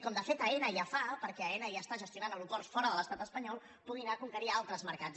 com de fet aena ja fa perquè aena ja està gestionant aeroports fora de l’estat espanyol pugui anar a conquerir altres mercats